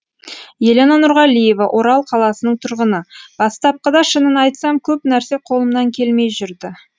елена нұрғалиева орал қаласының тұрғыны бастапқыда шынын айтсам көп нәрсе қолымнан келмей жүрді